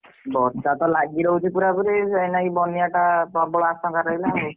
ବର୍ଷା ତ ଲାଗିରହୁଛି ପୁରା ପୁରୀ ସେଇଲାଗି ବନ୍ୟା ଟା ପ୍ରବଳ ଆଶଙ୍କା ରହିଲା ଆଉ।